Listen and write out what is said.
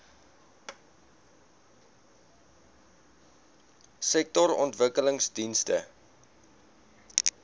sektorontwikkelingdienste